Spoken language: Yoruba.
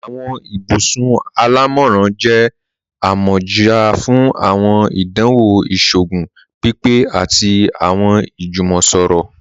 Awọn ibùsùn alámọ́ran jẹ̀ àmọ́já fún awọn ìdánwò ìṣòogùn pípé àti awọn ìjúmọ̀sọ̀rọ̀.